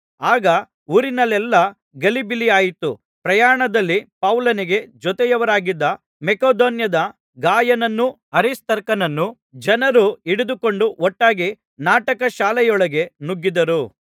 ಆಗ ಊರಿನಲ್ಲೆಲ್ಲಾ ಗಲಿಬಿಲಿಯಾಯಿತು ಪ್ರಯಾಣದಲ್ಲಿ ಪೌಲನಿಗೆ ಜೊತೆಯವರಾಗಿದ್ದ ಮಕೆದೋನ್ಯದ ಗಾಯನನ್ನೂ ಅರಿಸ್ತಾರ್ಕನನ್ನೂ ಜನರು ಹಿಡಿದುಕೊಂಡು ಒಟ್ಟಾಗಿ ನಾಟಕ ಶಾಲೆಯೊಳಗೆ ನುಗ್ಗಿದರು